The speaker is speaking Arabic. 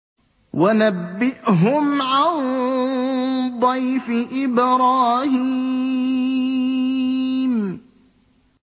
وَنَبِّئْهُمْ عَن ضَيْفِ إِبْرَاهِيمَ